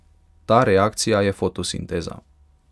Ta reakcija je fotosinteza.